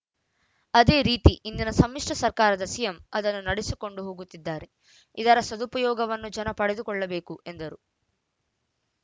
ಅದೇ ರೀತಿ ಇಂದಿನ ಸಮ್ಮಿಶ್ರ ಸರ್ಕಾರದ ಸಿಎಂ ಅದನ್ನು ನಡೆಸಿಕೊಂಡು ಹೋಗುತ್ತಿದ್ದಾರೆ ಇದರ ಸದುಪಯೋಗವನ್ನು ಜನ ಪಡೆದುಕೊಳ್ಳಬೇಕು ಎಂದರು